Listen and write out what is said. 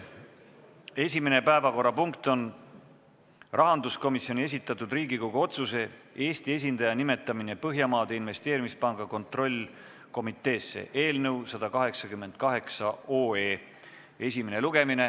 Esimene päevakorrapunkt on rahanduskomisjoni esitatud Riigikogu otsuse "Eesti esindaja nimetamine Põhjamaade Investeerimispanga kontrollkomiteesse" eelnõu 188 esimene lugemine.